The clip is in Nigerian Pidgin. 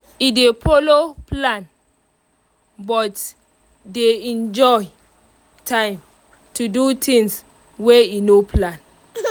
e dey follow plan but dey enjoy time to do things wey e no plan